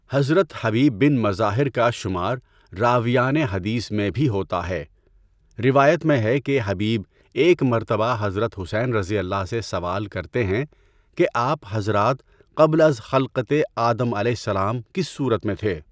حضرت Habib bin Mazahir کا شمار راویان حدیث میں بھی ہوتا ہے۔ روایت میں ہے کہ حبیب ایک مرتبہ حضرت حسینؓ سے سوال کرتے ہیں کہ آپ حضرات قبل از خلقتِ آدمؑ کس صورت میں تھے؟